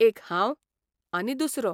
एक हांव, आनी दुसरो